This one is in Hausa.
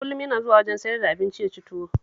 Kullum yana zuwa wajen sayar da abinci ya ci tuwo